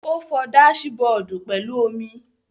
Ó fọ dáásì-bọọ̀dù pẹ̀lú omi.